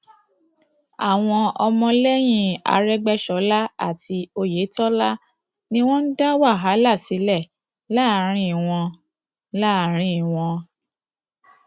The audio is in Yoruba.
àwọn ọmọlẹyìn arégbèsọlá àti oyetola ni wọn ń dá wàhálà sílẹ láàrin wọn láàrin wọn